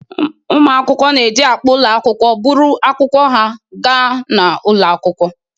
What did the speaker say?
Ụmụ akwụkwọ na-eji akpa ụlọ akwụkwọ buru akwụkwọ ha ga n'ụlọ akwụkwọ.